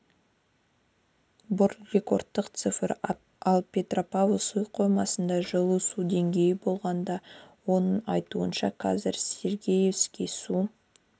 бұл рекордтық цифр ал петропавл су қоймасында жылы су деңгейі болған оның айтуынша қазір сергеевский су